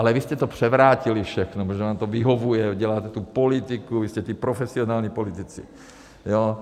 Ale vy jste to převrátili všechno, protože vám to vyhovuje, děláte tu politiku, vy jste ti profesionální politici.